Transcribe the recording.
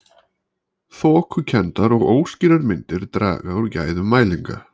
Þokukenndar og óskýrar myndir draga úr gæðum mælinga.